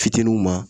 Fitininw ma